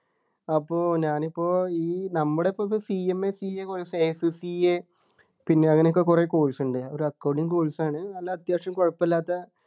അപ്പോ ഞാൻ ഇപ്പോ ഈ നമ്മടെ ഇപ്പോക്കെ CMACAcourseSCA പിന്നെ അങ്ങനെയൊക്കെ കുറെ course ഉണ്ട് ഒരു Accounting course ആണ് നല്ല അത്യാവശ്യം കുഴപ്പല്ലാത്ത